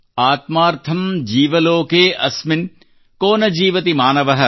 ಆತ್ಮಾರ್ಥಂ ಜೀವ ಲೋಕೆ ಅಸ್ಮಿನ್ ಕೊ ನ ಜೀವತಿ ಮಾನವಃ